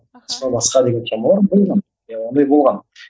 аха сол басқа деген темалар болған иә ондай болған